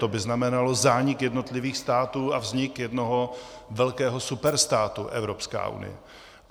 To by znamenalo zánik jednotlivých států a vznik jednoho velkého superstátu Evropská unie.